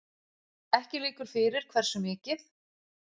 Ekki liggur fyrir hversu mikið